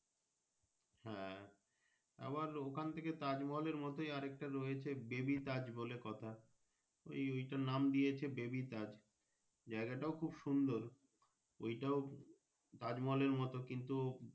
হ্যাঁ আবার ওখান থেকে তাজমহল মতই আর একটা রয়েছে Baby তাজ বলে কথা এই ঐটার নাম দিয়েছে Baby তাজ জায়গা টা খুব সুন্দর ওটাও তাজ মহলের মতো কিন্তু।